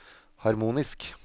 harmonisk